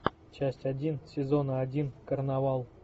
часть один сезона один карнавал